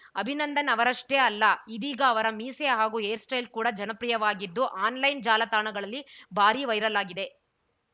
ಅಭಿನಂದನ್‌ ಅವರಷ್ಟೇ ಅಲ್ಲ ಇದೀಗ ಅವರ ಮೀಸೆ ಹಾಗೂ ಹೇರ್‌ಸ್ಟೈಲ್‌ ಕೂಡ ಜನಪ್ರಿಯವಾಗಿದ್ದು ಆನ್‌ಲೈನ್‌ ಜಾಲತಾಣಗಳಲ್ಲಿ ಭಾರಿ ವೈರಲ್‌ ಆಗಿದೆ